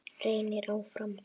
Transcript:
Reynir áfram.